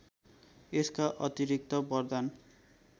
यसका अतिरिक्त बरदान